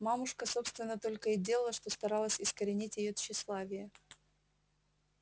мамушка собственно только и делала что старалась искоренить её тщеславие